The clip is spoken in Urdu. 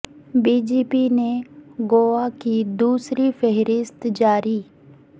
بی جے پی نے گوا کی دوسری فہرست جاری